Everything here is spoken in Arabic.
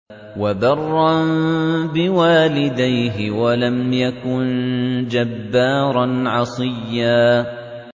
وَبَرًّا بِوَالِدَيْهِ وَلَمْ يَكُن جَبَّارًا عَصِيًّا